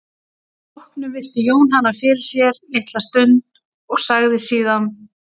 Að því loknu virti Jón hana fyrir sér litla stund og sagði síðan